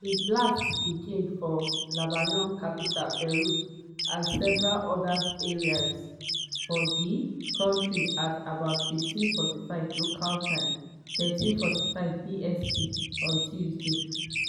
di blasts begin for lebanon capital beirut and several oda areas of di country at about 15:45 local time (13:45 bst) on tuesday.